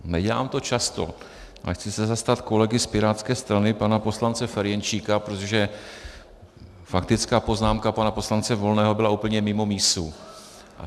Nedělám to často, ale chci se zastat kolegy z pirátské strany pana poslance Ferjenčíka, protože faktická poznámka pana poslance Volného byla úplně mimo mísu.